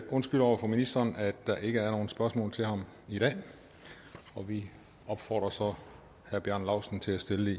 undskylder over for ministeren at der ikke er nogen spørgsmål til ham i dag og vi opfordrer så herre bjarne laustsen til at stille